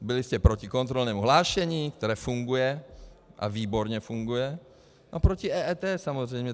Byli jste proti kontrolnímu hlášení, které funguje, a výborně funguje, a proti EET samozřejmě.